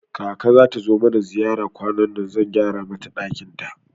Kaka zata zo mana ziyara kwanannan, zan gyara mata ɗakin ta